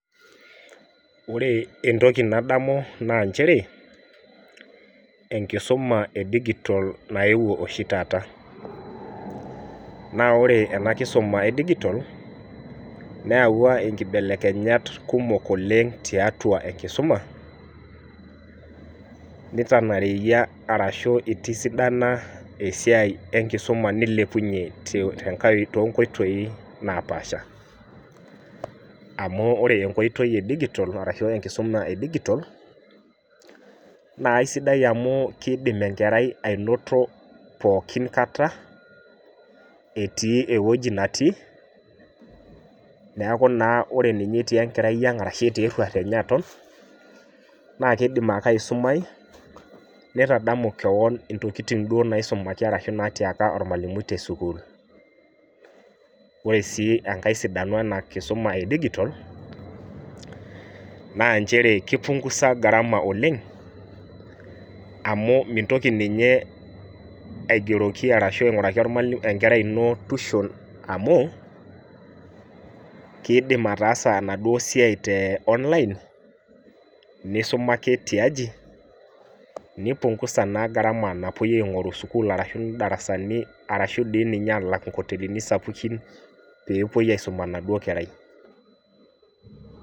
Wore entoki nadamu naa nchere, enkisuma edigitol nayewuo oshi taata. Naa wore ena kisuma edigitol, neyawua inkibelekenyat kumok oleng' tiatua enkisuma, nitanareyia arashu itisidana esiai enkisuma nilepunyie toonkoitoi naapaasha. Amu wore enkoitoi edigitol arashu enkisuma edigitol, naa aisidai amu kiidim enkerai ainoto pookin kata, etii ewoji natii, neeku naa wore ninye etii enkerai ang' arashu etii erruat enye aton, naa kiidim ake aisumai, nitadamu kewon intokitin duo naisumaki arashu naatiaka ormalimui tesukuul. Wore sii enkae sidano ena kisuma edigitol, naa nchere kipungusa gharama oleng', amu mintoki ninye aigeroki arashu ainguraki enkerai ino tushon amu, kiidim ataasa enaduo siai te online, nisuma ake tiaji, nipungusa naa gharama napoi aingorru sukuul arashu darasani arashu dii ninye aalak inkotelini sapukin pee epoi ausum enaduo kerai.